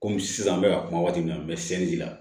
Kɔmi sisan n bɛ ka kuma waati min na n bɛ sɛn di i la